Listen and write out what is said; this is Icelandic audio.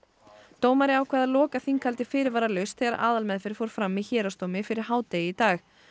dómari ákvað að loka þinghaldi fyrirvaralaust þegar aðalmeðferð fór fram í héraðsdómi fyrir hádegi í dag